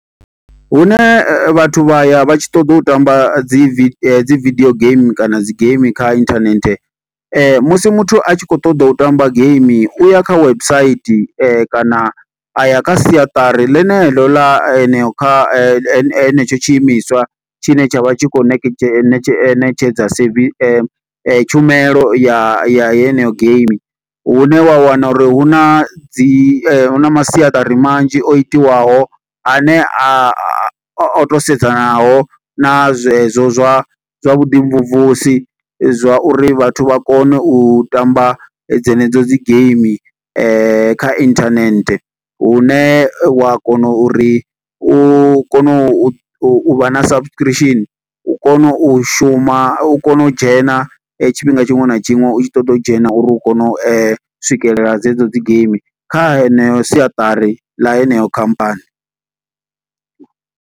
Hune vhathu vha ya vha tshi ṱoḓa u tamba dzi vi dzi video game kana dzi game kha inthanethe, musi muthu a tshi khou ṱoḓa u tamba game, u ya kha website. Kana a ya kha siaṱari ḽene ḽo ḽa heneyo kha hene he henetsho tshiimiswa, tshine tsha vha tshi khou nekedzhe netshe netshedza servi, tshumelo ya ya heneyo game. Hune wa wana uri hu na dzi, hu na masiaṱari manzhi o itiwaho, a ne a a, o to sedzanaho na zwezwo zwa zwa vhu ḓi mvumvusi. Zwa uri vhathu vha kone u tamba dze ne dzo dzi game kha internet. Hune wa kona uri u kone u u u vha na subscription, u kone u shuma, u kone u dzhena tshifhinga tshiṅwe na tshiṅwe, u tshi ṱoḓa u dzhena, uri u kone u swikelela dze dzo dzi game kha heneyo siatari ḽa heneyo khamphani.